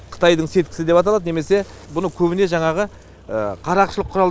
қытайдын сеткасы деп аталады немесе бұны көбіне жаңағы қарақшылық құрал